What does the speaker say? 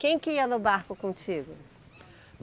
Quem que ia no barco contigo?